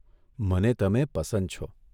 મને તમે પસંદ છો.